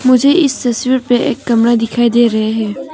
मुझे इस तस्वीर पे एक कमरा दिखाई दे रहा है।